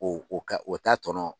O o ka o ta tɔnɔ